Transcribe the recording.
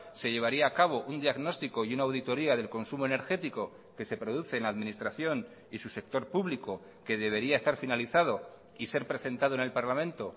se llevaría a cabo un diagnóstico y una auditoría del consumo energético que se produce en la administración y su sector público que debería estar finalizado y ser presentado en el parlamento